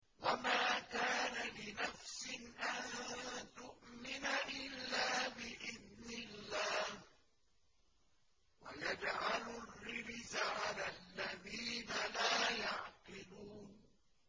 وَمَا كَانَ لِنَفْسٍ أَن تُؤْمِنَ إِلَّا بِإِذْنِ اللَّهِ ۚ وَيَجْعَلُ الرِّجْسَ عَلَى الَّذِينَ لَا يَعْقِلُونَ